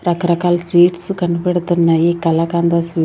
రకరకాల స్వీట్స్ కనిపెడుతున్నాయి కాలకంద్ అసల్--